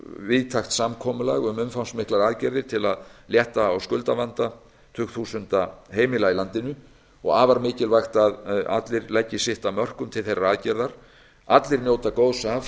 víðtækt samkomulag um umfangsmiklar aðgerðir til að létta á skuldavanda tugþúsunda heimila í landinu og afar mikilvægt að allir leggi sitt af mörkum til þeirrar aðgerðar allir njóta góðs af